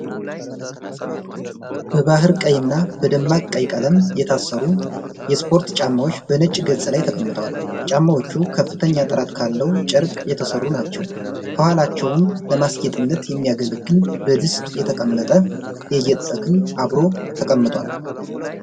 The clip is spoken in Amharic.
በባሕር ቀይ እና በደማቅ ቀይ ቀለም የታሰሩ የስፖርት ጫማዎች፣ በነጭ ገጽ ላይ ተቀምጠዋል። ጫማዎቹ በከፍተኛ ጥራት ካለው ጨርቅ የተሠሩ ናቸው። ከኋላቸውም ለአስጌጥነት የሚያገለግል በድስት የተቀመጠ የጌጥ ተክል አብሮ ተቀምጧል።